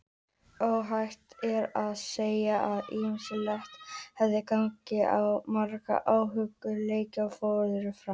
Óhætt er að segja að ýmislegt hafi gengið á og margir áhugaverðir leikir fóru fram.